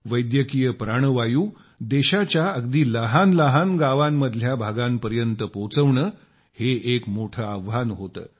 वैद्यकीय प्राणवायू देशाच्या अगदी लहान लहान गावांतल्या भागांपर्यंत पोहोचवणे हे एक मोठे आव्हान होते